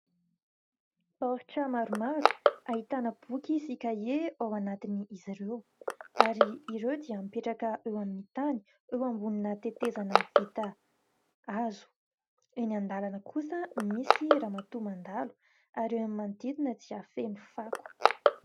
Baoritra maromaro ahitana boky sy "cahier" ao anatin'izy ireo, ary ireo dia mipetraka eo amin'ny tany eo ambonina tetezana vita hazo. Eny an-dalana kosa misy ramatoa mandalo ary eo amin'ny manodidina dia feno fako.